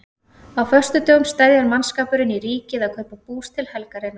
Á föstudögum steðjar mannskapurinn í Ríkið að kaupa bús til helgarinnar.